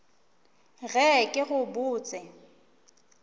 ge ke go bot se